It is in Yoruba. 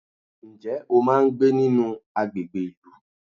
Ǹjẹ́ o máa ń gbé nínú àgbègbè ìlú?